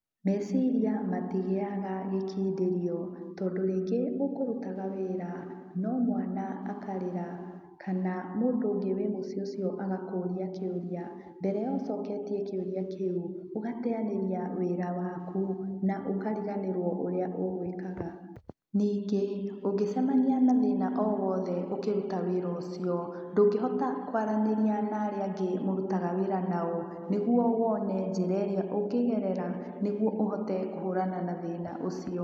Meciria matigĩaga gĩkindĩrio tondũ rĩngĩ ũkũrutaga wĩra no mwana akarĩra kana mũndũ ũngĩ wĩ mũcĩĩ ũcio agakũria kĩũria mbere ya ũcoketie kĩũria kĩu ũgateyanĩria wĩra waku na ũkariganĩrwo ũrĩa ũgũĩkaga. Ningĩ ũngĩcemania na thĩna owothe ũkĩruta wĩra ũcio ndũngĩhota kwaranĩria na aria angĩ mũrutaga wĩra nao nĩguo wone njĩra ĩrĩa ũngĩgerera nĩguo ũhote kũhũrana na thĩna ũcio.